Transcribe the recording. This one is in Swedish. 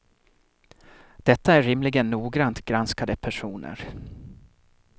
Detta är rimligen noggrant granskade personer.